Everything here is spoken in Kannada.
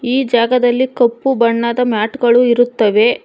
ಈ ಜಾಗದಲ್ಲಿ ಕಪ್ಪು ಬಣ್ಣದ ಮ್ಯಾಟ್ ಗಳು ಇರುತ್ತವೆ